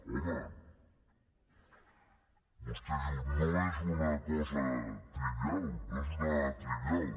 home vostè diu no és una cosa trivial no és una dada trivial